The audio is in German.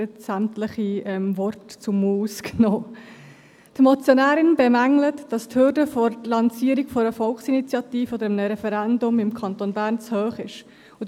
Die Motionärin bemängelt, dass die Hürde für die Lancierung einer Volksinitiative oder eines Referendums im Kanton Bern zu hoch sei.